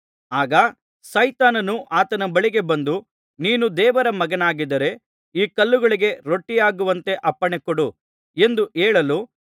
ಆಗ ಸೈತಾನನು ಆತನ ಬಳಿಗೆ ಬಂದು ನೀನು ದೇವರ ಮಗನಾಗಿದ್ದರೆ ಈ ಕಲ್ಲುಗಳಿಗೆ ರೊಟ್ಟಿಯಾಗುವಂತೆ ಅಪ್ಪಣೆಕೊಡು ಎಂದು ಹೇಳಲು